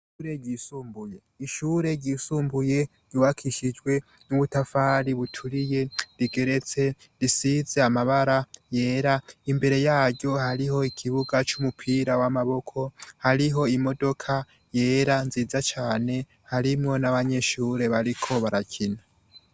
Ishure ryisumbuye ryubakishijwe n'ubutafari buturiye, rigeretse, risize amabara yera; imbere yaryo hariho ikibuga c'umupira w'amaboko, hariho imodoka yera nziza cane harimwo n'abanyeshure bariko barakina.